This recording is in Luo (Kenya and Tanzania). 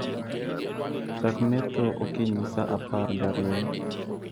chak metho okinyi sa apar gariyo